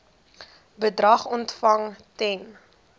bedrag ontvang ten